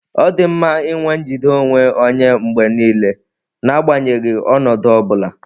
Ọ dị mma inwe njide onwe onye mgbe niile, n'agbanyeghị ọnọdụ ọ bula.